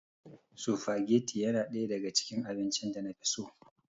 Sufageti yana ɗaya daga cikin abincin da na fi so.